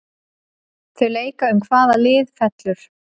Þau leika um hvaða lið fellur.